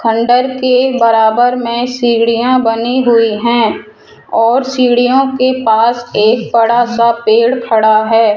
खंडहर के बराबर में सीढ़ियां बनी हुई हैं और सीढ़ियों के पास एक बड़ा सा पेड़ खड़ा है।